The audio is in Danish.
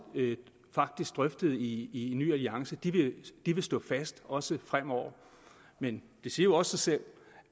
drøftede i i ny alliance vil stå fast også fremover men det siger jo også sig selv